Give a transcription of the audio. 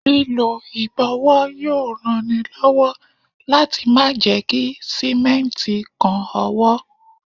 Lílọ ìbọ̀wọ́ yóò ran ni lọ́wọ́ láti má ṣe jẹ́ kí Símẹ́ǹtì kan ọwọ́.